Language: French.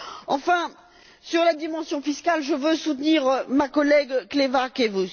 Enfin, sur la dimension fiscale, je veux soutenir ma collègue Kleva Kekuš.